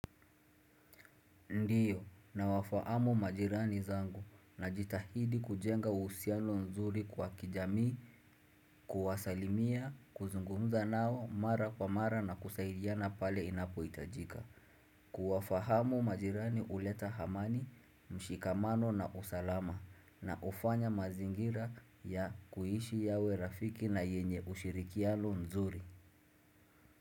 Ndiyo nawafahamu majirani zangu najitahidi kujenga usiano nzuri kwa kijamii, kuwasalimia, kuzungumza nao mara kwa mara na kusaidiana pale inapo itajika. Kuwafahamu majirani uleta hamani, mshikamano na usalama na ufanya mazingira ya kuishi yawe rafiki na yenye ushirikiano nzuri.